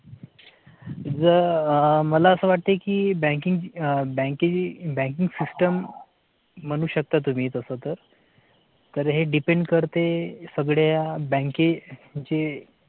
म्हणजे मला असं वाटतं की BANKING banking system म्हणू शकता. तुम्ही तसं तर तर हे depend करते सगळ्या बँकेची